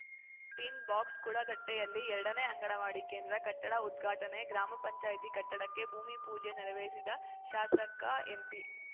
tin box ಕುಳಗಟ್ಟೆಯಲ್ಲಿ ಎರಡನೇ ಅಂಗನವಾಡಿ ಕೇಂದ್ರ ಕಟ್ಟಡ ಉದ್ಘಾಟನೆ ಗ್ರಾಮ ಪಂಚಾಯತಿ ಕಟ್ಟಡಕ್ಕೆ ಭೂಮಿ ಪೂಜೆ ನೆರವೇರಿಸಿದ ಶಾಸಕ ಎಂಪಿ